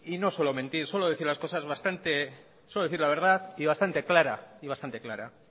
no suelo mentir suelo decir la verdad y bastante clara y bastante clara